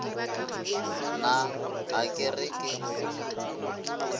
na a ke re ke